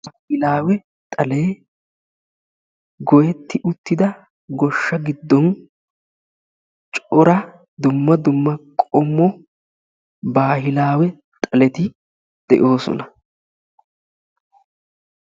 Baahilawe xalee goyetti uttida goshsha giddon cora dumma dumma qommo baahilawe xaleti de'oosona.